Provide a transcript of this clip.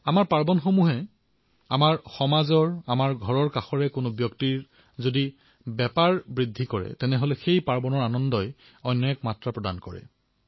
আমাৰ পৰ্বসমূহত আমাৰ সমাজৰ আমাৰ ঘৰৰ ওচৰৰেই কোনো ব্যক্তিৰ উপাৰ্জন বৃদ্ধি হওক তেওঁৰো উৎসৱ সুখৰ হওক তেতিয়া এই পৰ্বৰ আনন্দ দুগুণে বৃদ্ধি হৈ পৰে